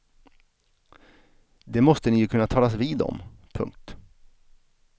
Det måste ni ju kunna talas vid om. punkt